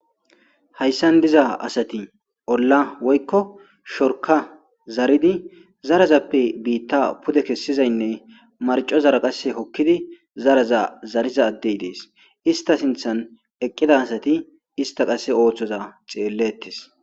Hayssan diza asati olla woykko shorka zaridi zarazappe biitta pude kessizaynne marcozara qasse hokkidi zaraza zariza addey dees ista sinthan eqqida asati ista qasse ooththoza xeellettes.